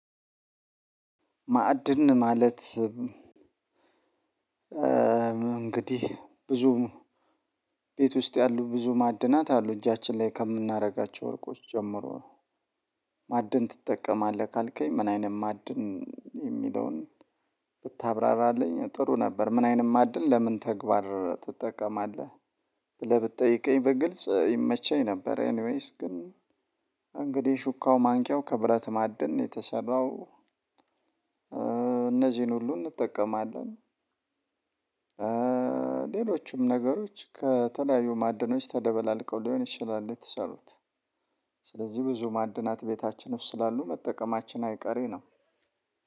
ማዕድን ማለት እንግዲህ ብዙም ቤት ውስጥ ያሉ ብዙ ማዕድናት አሉ እጃችን ላይ ከምናደርጋቸው ወርቆች ጀምሮ ማዕድን ትጠቀማለህ ካልከኝ ምን አይነት ማዕድን የሚለውን ብታብራራለኝ ጥሩ ነበር። ምን አይንት ማድን ለምን ተግባር ትጠቀማለህ ብለህ ብትጠይቀኝ በግልጽ ይመቸኝ ነበር። ኤኒዌይስ ግን እንግዲህ ሹካው ማንኪያው ከብረት ማደን የተሰራው እነዚህን ሁሉ እንጠቀማለን። ሌሎችም ነገሮች ከተለያዩ ማዕድኖች ተደበላልቀው ሊሆን ይችላል የተሰሩት። ስለዚህ ብዙ ማዕድናት ቤታችን ውስጥ ስላሉ መጠቀማችን አይቀሬ ነው።